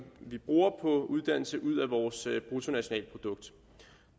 vi bruger på uddannelse ud af vores bruttonationalprodukt